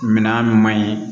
Minan min man ɲi